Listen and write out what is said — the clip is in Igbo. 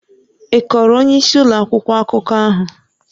Ị kọọrọ onyeisi ụlọ akwụkwọ akụkọ ahụ?